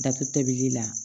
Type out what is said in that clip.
Datuguli la